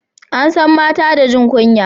an san mata da jin kunya